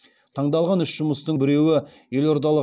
таңдалған үш жұмыстың біреуі елордалық